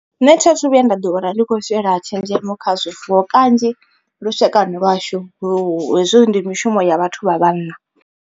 Nṋe tha thu vhuya nda ḓi wana ndi kho shela tshenzhemo kha zwifuwo kanzhi, lushaka lwashu lu hezwo ndi mishumo ya vhathu vha vhanna.